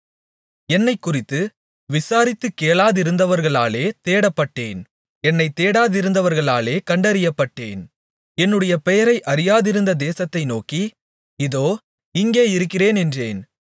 என்னைக்குறித்து விசாரித்துக் கேளாதிருந்தவர்களாலே தேடப்பட்டேன் என்னைத் தேடாதிருந்தவர்களாலே கண்டறியப்பட்டேன் என்னுடைய பெயரை அறியாதிருந்த தேசத்தை நோக்கி இதோ இங்கே இருக்கிறேன் என்றேன்